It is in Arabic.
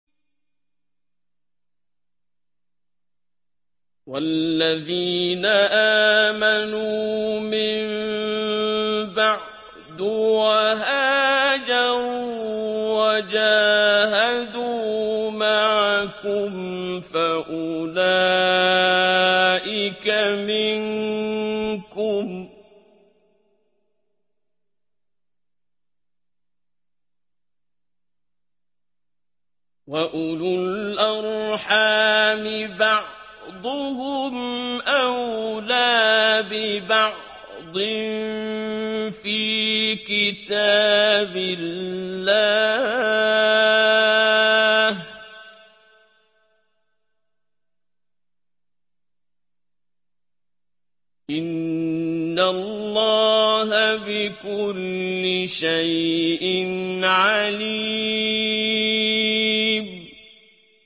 وَالَّذِينَ آمَنُوا مِن بَعْدُ وَهَاجَرُوا وَجَاهَدُوا مَعَكُمْ فَأُولَٰئِكَ مِنكُمْ ۚ وَأُولُو الْأَرْحَامِ بَعْضُهُمْ أَوْلَىٰ بِبَعْضٍ فِي كِتَابِ اللَّهِ ۗ إِنَّ اللَّهَ بِكُلِّ شَيْءٍ عَلِيمٌ